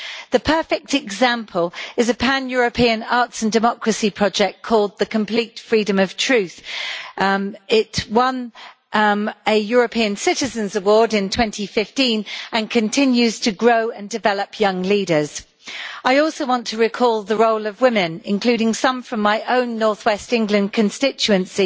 The perfect example is a pan European arts and democracy project called The Complete Freedom of Truth' it won a European Citizens' Award in 2015 and it continues to grow and to develop young leaders. I also want to recall the role of women, including some from my own north west England constituency,